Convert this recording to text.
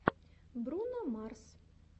бруно марс